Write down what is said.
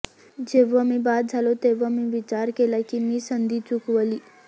जेव्हा मी बाद झालो तेव्हा मी विचार केला की मी संधी चुकवली